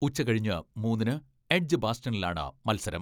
ഉച്ച കഴിഞ്ഞ് മൂന്നിന് എഡ്ജ് ബാസ്റ്റണിലാണ് മത്സരം.